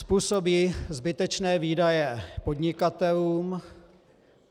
Způsobí zbytečné výdaje podnikatelům.